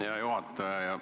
Hea juhataja!